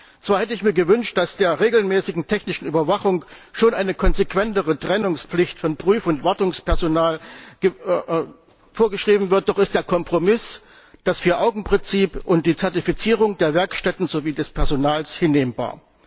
Zwar hätte ich mir gewünscht, dass im Zusammenhang mit der regelmäßigen technischen Überwachung schon eine konsequentere Trennungspflicht von Prüf und Wartungspersonal vorgeschrieben wird, doch ist der Kompromiss das Vier Augen Prinzip und die Zertifizierung der Werkstätten sowie des Personals hinnehmbar.